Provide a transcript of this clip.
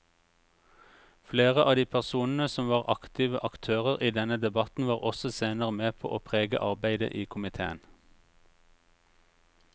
Flere av de personene som var aktive aktører i denne debatten var også senere med på å prege arbeidet i komiteen.